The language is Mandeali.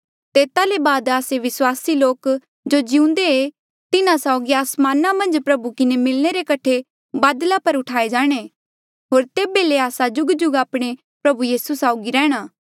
तेता ले बाद आस्से विस्वासी लोक जो जिउंदे ऐें तिन्हा साउगी आसमाना मन्झ प्रभु किन्हें मिलणे रे कठे बदला पर उठाए जाणे होर तेबे ले आस्सा जुगजुग आपणे प्रभु साउगी रैंह्णां